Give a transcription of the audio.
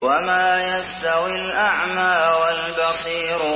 وَمَا يَسْتَوِي الْأَعْمَىٰ وَالْبَصِيرُ